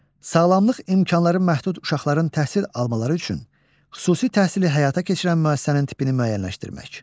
Sağlamlıq imkanları məhdud uşaqların təhsil almaları üçün xüsusi təhsili həyata keçirən müəssisənin tipini müəyyənləşdirmək.